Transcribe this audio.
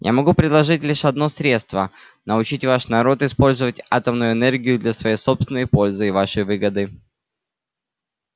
я могу предложить лишь одно средство научить ваш народ использовать атомную энергию для своей собственной пользы и вашей выгоды